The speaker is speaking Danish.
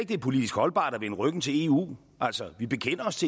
det er politisk holdbart at vende ryggen til eu altså vi bekender os